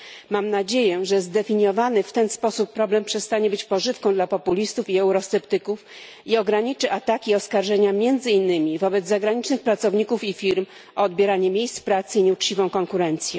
Mam nadzieję, że zdefiniowany w ten sposób problem przestanie być pożywką dla populistów i eurosceptyków i ograniczy ataki i oskarżenia między innymi wobec zagranicznych pracowników i firm o odbieranie miejsc pracy i nieuczciwą konkurencję.